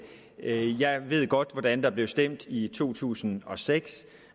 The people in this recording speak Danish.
ikke jeg ved godt hvordan der blev stemt i to tusind og seks